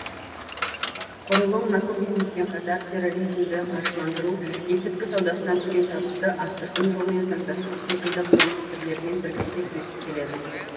құрылым наркобизнеспен қатар терроризмді қаржыландыру есірткі саудасынан түскен табысты астыртын жолмен заңдастыру секілді қылмыс түрлерімен бірлесе күресіп келеді